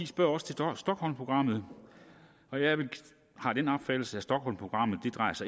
spørger også til stockholmprogrammet og jeg har den opfattelse at stockholmprogrammet